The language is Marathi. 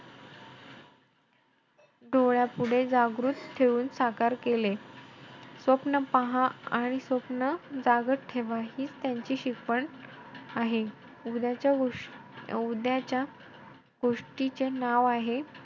डोळ्यापुढे जागृत ठेऊन साकार केले. स्वप्न पहा आणि स्वप्न जगात ठेवा हीच त्यांची शिकवण आहे. उद्याच्या गोष~ गोष्टीचे नाव आहे,